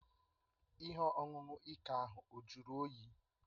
Ihe ọṅụṅụ ike ahụ ọ juru oyi?